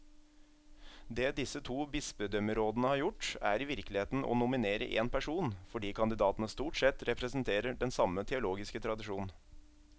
Det disse to bispedømmerådene har gjort, er i virkeligheten å nominere én person, fordi kandidatene stort sett representerer den samme teologiske tradisjon.